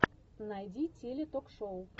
найди теле ток шоу